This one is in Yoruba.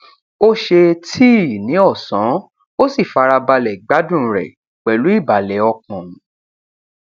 ó ṣe tíì ní ọsán ó sì fara balẹ gbádùn rẹ pẹlú ìbàlẹ ọkàn